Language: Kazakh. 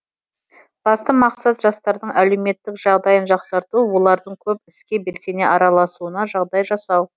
басты мақсат жастардың әлеуметтік жағдайын жақсарту олардың көп іске белсене араласуына жағдай жасау